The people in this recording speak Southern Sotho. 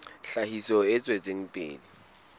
tlhahiso e tswetseng pele ya